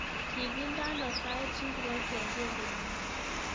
Kigindeno sait ngiro kengelenyu